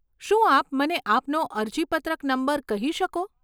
શું આપ મને આપનો અરજીપત્રક નંબર કહી શકો?